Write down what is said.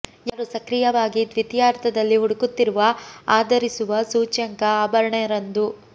ಯಾರು ಸಕ್ರಿಯವಾಗಿ ದ್ವಿತೀಯಾರ್ಧದಲ್ಲಿ ಹುಡುಕುತ್ತಿರುವ ಆ ಧರಿಸುವ ಸೂಚ್ಯಂಕ ಆಭರಣ ರಂದು